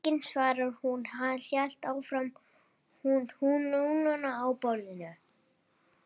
Enginn svaraði og hún hélt áfram með hnúana á borðinu